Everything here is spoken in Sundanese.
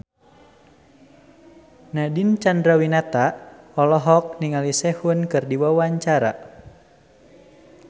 Nadine Chandrawinata olohok ningali Sehun keur diwawancara